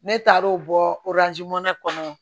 Ne taar'o bɔ kɔnɔ